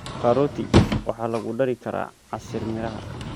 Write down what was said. Karoti waxaa lagu dari karaa casiir miraha.